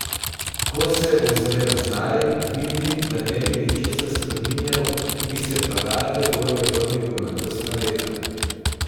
Ko se ozre nazaj, vidi, da ne bi ničesar spreminjal, bi se pa rade volje vrnil v mladostna leta.